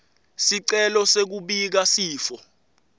sicelo sekubika sifo